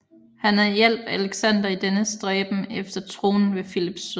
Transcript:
Han hjalp Alexander i dennes stræben efter tronen ved Filips død